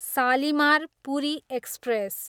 Shalimar, Puri express